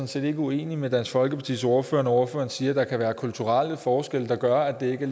set ikke uenig med dansk folkepartis ordfører når ordføreren siger at der kan være kulturelle forskelle der gør at det ikke